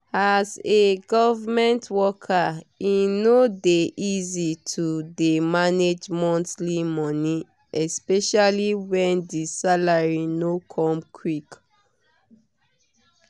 as a government worker e no dey easy to dey manage monthly money especially when the salary no come quick.